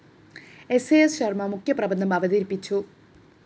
സ്‌ അ സ്‌ ശര്‍മ മുഖ്യപ്രബന്ധം അവതരിപ്പിച്ചു